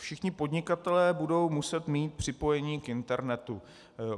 Všichni podnikatelé budou muset mít připojení k internetu.